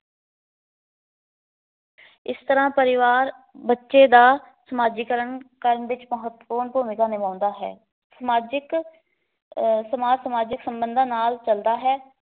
ਇਸ ਤਰਾਂ ਪਰਿਵਾਰ ਬੱਚੇ ਦਾ ਸਮਾਜੀਕਰਨ ਕਰਨ ਵਿੱਚ ਮਹੱਤਵਪੂਨ ਭੁਮਿਕਾਂ ਨਿਭਾਉਂਦਾ ਹੈ। ਸਮਾਜਿਕ ਅਹ ਸਮਾਜ ਸਾਮਜਿਕ ਸਬੰਧਾ ਨਾਲ ਚੱਲਦਾ ਹੈ।